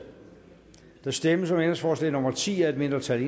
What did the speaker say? der stemmes om ændringsforslag nummer ti af et mindretal